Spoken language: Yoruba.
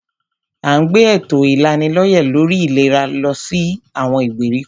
À ń gbé èto ìlanilọ́yẹ̀ lórí ìlera lọ sí àwọn ìgbèríko.